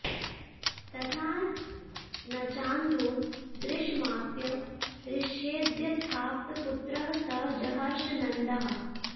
तथा न चान्धो दृशमाप्य हृष्येद्यथाप्तपुत्रः स जहर्ष नन्दः